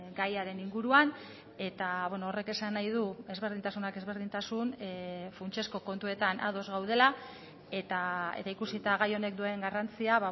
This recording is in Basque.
gaiaren inguruan eta horrek esan nahi du ezberdintasunak ezberdintasun funtsezko kontuetan ados gaudela eta ikusita gai honek duen garrantzia